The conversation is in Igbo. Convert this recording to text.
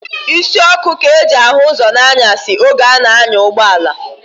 Isi ọkụ ka e ji ahụ ụzọ n'anyasị oge a na-anya ụgbọala.